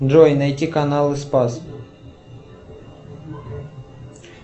джой найти каналы спас